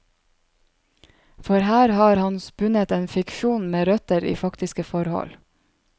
For her har han spunnet en fiksjon med røtter i faktiske forhold.